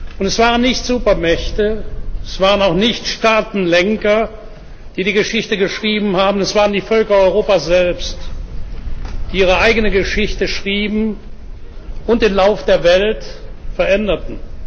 Und es waren nicht Supermächte, es waren auch nicht Staatenlenker, die die Geschichte geschrieben haben, es waren die Völker Europas selbst, die ihre eigene Geschichte schrieben und den Lauf der Welt veränderten.